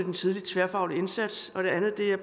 en tidlig tværfaglig indsats og det andet er